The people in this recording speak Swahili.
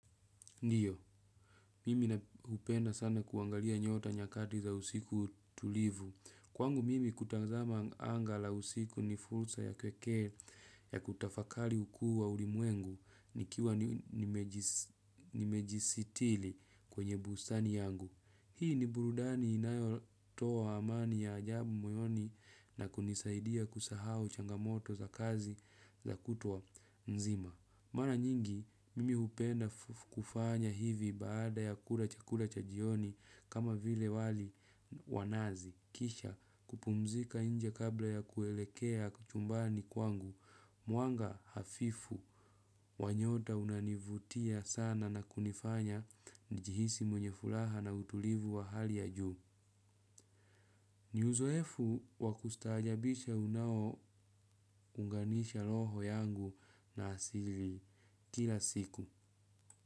Ndiyo, mimi na hupenda sana kuangalia nyota nyakati za usiku tulivu. Kwangu mimi kutazama anga la usiku ni fursa ya pekee ya kutafakari ukuu wa ulimwengu nikiwa nimejisitiri kwenye bustani yangu. Hii ni burudani inayotoa amani ya ajabu moyoni na kunisaidia kusahau changamoto za kazi za kutwa nzima. Mara nyingi, mimi hupenda kufanya hivi baada ya kula chakula cha jioni kama vile wali wa nazi. Kisha kupumzika nje kabla ya kuelekea chumbani kwangu. Mwanga hafifu. Wa nyota unanivutia sana na kunifanya nijihisi mwenye furaha na utulivu wa hali ya juu. Ni uzoefu wa kustaajabisha unaounganisha roho yangu na asili kila siku.